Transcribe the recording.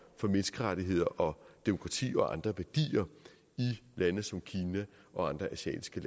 menneskerettigheder og demokrati og andre værdier i lande som kina og andre asiatiske